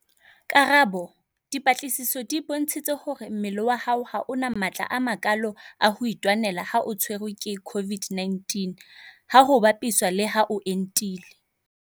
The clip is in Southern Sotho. Karabo- Dipatlisiso di bontshitse hore mmele wa hao ha o na matla a makalo a ho itwanela ha o tshwerwe ke COVID-19 ha ho bapiswa le ha o entile.